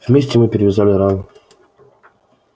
вместе мы перевязали рану